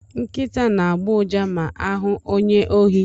Nkịta na-agbọ ụja ma ha hụ onye ohi.